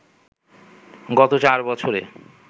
গত চার বছরে